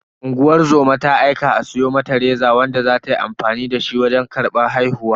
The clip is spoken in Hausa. Unguwar zoma ta aika a siyo mata reza wanda za ta yi amfani dashi wajen karban haihuwa.